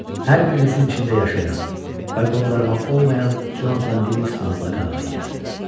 Hər birimizin içində yaşayan və qondarma olmayan Conatan Livingston adlı qağayıya.